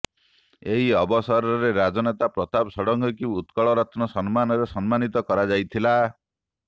ଏହି ଅବସରରେ ରାଜନେତା ପ୍ରତାପ ଷଡ଼ଙ୍ଗୀଙ୍କୁ ଉତ୍କଳରତ୍ନ ସମ୍ମାନରେ ସମ୍ମାନିତ କରାଯାଇଥିଲା